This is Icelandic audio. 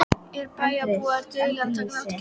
Eru bæjarbúar duglegir að taka þátt í keppninni?